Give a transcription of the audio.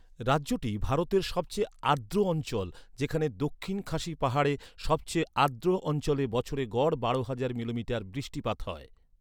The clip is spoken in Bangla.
রাজ্যটি ভারতের সবচেয়ে আর্দ্র অঞ্চল, যেখানে দক্ষিণ খাসি পাহাড়ের সবচেয়ে আর্দ্র অঞ্চলে বছরে গড় বারো হাজার মিলিমিটার বৃষ্টিপাত হয়।